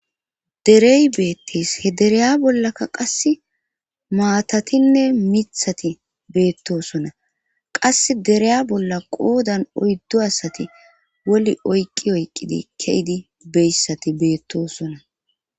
derey beettis he dereya bollaka qass maatatinne mithati beettosona qas dereya bolla qoodan oyddo asati woli oyqqi oyqqidi ke7idi beyssati beettosona